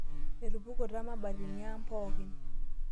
Etupukuta mabatini aang' pookin